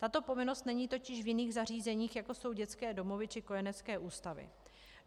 Tato povinnost není totiž v jiných zařízeních, jako jsou dětské domovy či kojenecké ústavy.